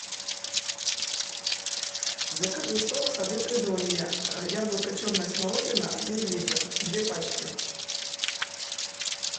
закажи сок сады придонья яблоко черная смородина один литр две пачки